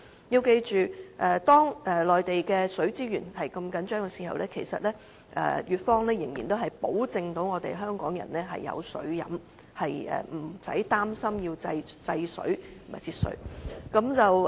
要記住，當內地的水資源如此緊張時，粵方仍能保證香港人有水喝，無須擔心要制水和節水。